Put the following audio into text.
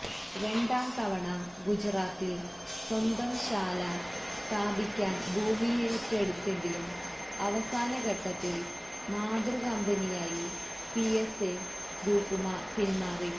രണ്ടാംതവണ ഗുജറാത്തില് സ്വന്തം ശാല സ്ഥാപിക്കാന് ഭൂമിയേറ്റെടുത്തെങ്കിലും അവസാന ഘട്ടത്തില് മാതൃകമ്പനിയായ പിഎസ്എ ഗ്രൂപ്പ് പിന്മാറി